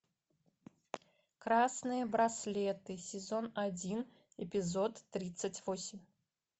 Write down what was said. красные браслеты сезон один эпизод тридцать восемь